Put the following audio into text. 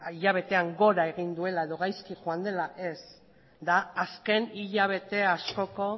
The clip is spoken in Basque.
hilabetean gora egin duela edo gaizki joan dela ez da azken hilabete askoko